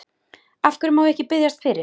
Af hverju má ég ekki biðjast fyrir?